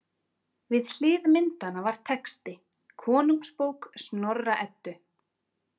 Við hlið myndanna var texti: Konungsbók Snorra- Eddu.